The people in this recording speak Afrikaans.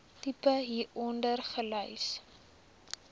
tipe hieronder gelys